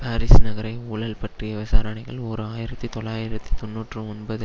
Paris நகரை ஊழல் பற்றிய விசாரணைகள் ஓர் ஆயிரத்தி தொள்ளாயிரத்தி தொன்னூற்றி ஒன்பது